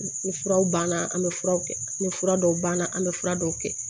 Ni furaw banna an bɛ furaw kɛ ni fura dɔw banna an bɛ fura dɔw kɛ